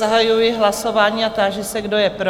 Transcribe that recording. Zahajuji hlasování a táži se, kdo je pro?